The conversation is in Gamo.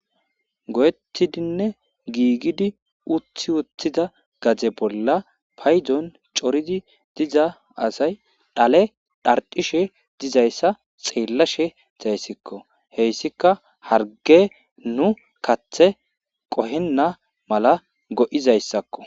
go7etidinne giigidi uthi wuthida gaze bolla paydon coridi diza asay dhale dhardishe dizayssa xeellashe zayssikko heyssika harge nu kathe qohenna mala go7izayssakko